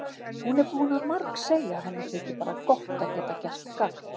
Hún er búin að margsegja að henni þyki bara gott að geta gert gagn.